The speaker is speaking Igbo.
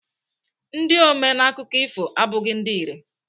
Ndị ome n'akụkọ ifo abụghị ndị irè.